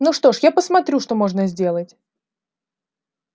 ну что ж я посмотрю что можно сделать